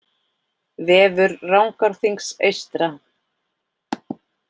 Vefur Rangárþings eystra